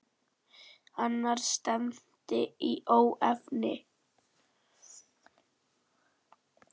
Annars stefndi í óefni.